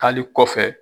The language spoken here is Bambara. Taali kɔfɛ